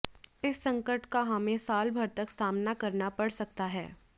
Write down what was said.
इस संकट का हमें साल भर तक सामना करना पड़ सकता है